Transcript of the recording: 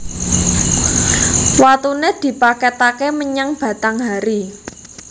Watune dipaketake menyang Batanghari